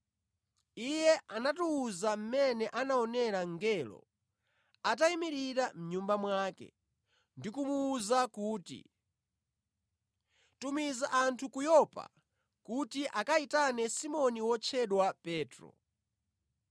Iye anatiwuza mmene anaonera mngelo atayimirira mʼnyumba mwake ndi kumuwuza kuti, ‘Tumiza anthu ku Yopa kuti akayitane Simoni wotchedwa Petro.